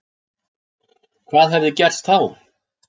Hvað hefði gerst þá